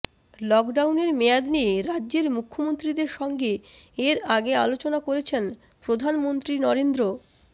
লকডাউনের মেয়াদ নিয়ে রাজ্যের মুখ্যমন্ত্রীদের সঙ্গে এর আগে আলোচনা করেছেন প্রধানমন্ত্রী নরেন্দ্র